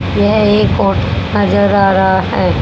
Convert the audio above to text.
यह एक ऑट नजर आ रहा है।